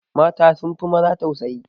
Mata sun fi maza tausayi